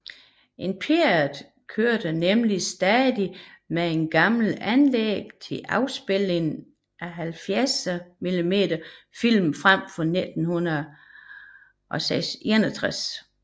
Imperial kørte nemlig stadig med et gammelt anlæg til afspilning af 70mm film fra 1961